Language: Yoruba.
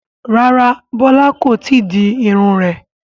Rárá Bola kò tíì di irun rẹ̀